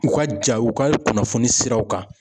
U ka ja u ka kunnafoni siraw kan.